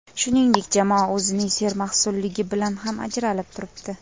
Shuningdek, jamoa o‘zining sermahsulligi bilan ham ajralib turibdi.